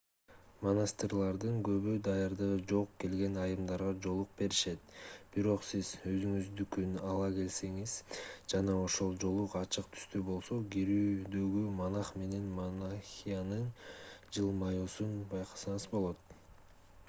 монастырлардын көбү даярдыгы жок келген айымдарга жоолук беришет бирок сиз өзүңүздүкүн ала келсеңиз жана ошол жоолук ачык түстүү болсо кирүүдөгү монах менен монахинянын жылмаюусун байкасаңыз болот